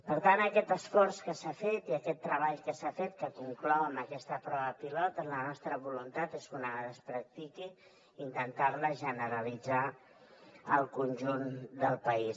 per tant aquest esforç que s’ha fet i aquest treball que s’ha fet que conclou amb aquesta prova pilot la nostra voluntat és que una vegada es practiqui intentar la generalitzar al conjunt del país